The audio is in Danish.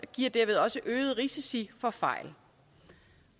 giver derved også øgede risici for fejl